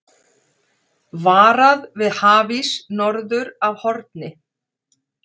Varað við hafís norður af Horni